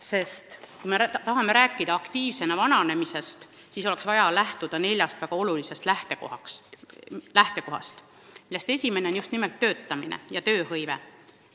Sest kui me tahame rääkida aktiivsena vananemisest, siis oleks vaja lähtuda neljast väga olulisest lähtekohast, millest esimene on just nimelt töötamine ja tööhõive.